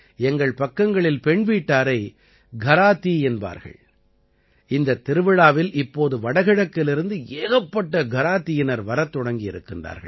எங்கள் பக்கங்களில் பெண்வீட்டாரை கராதீ என்பார்கள் இந்தத் திருவிழாவில் இப்போது வடகிழக்கிலிருந்து ஏகப்பட்ட கராதீயினர் வரத் தொடங்கியிருக்கின்றார்கள்